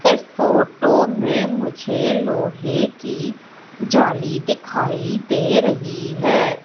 इस फोटो में मुझे लोहे की जाली दिखाई दे रही है।